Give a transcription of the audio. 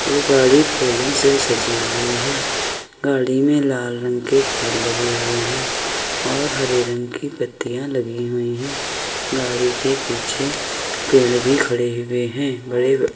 गाड़ी फूलों से सजी हुई है। गाड़ी में लाल रंग के फूल लगे हुए हैं और हरे रंग की पत्तीयां लगी हुई है। गाड़ी के पीछे पेड़ भी खड़े हुए हैं। बड़े --